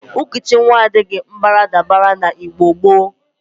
Nkụchị nwa adaghi baradabara n'Igbo gboo.